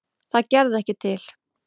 Það gerði ekki til.